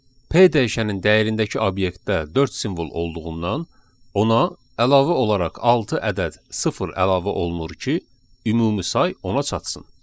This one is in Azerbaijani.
P dəyişənin dəyərindəki obyektdə dörd simvol olduğundan ona əlavə olaraq altı ədəd sıfır əlavə olunur ki, ümumi say ona çatsın.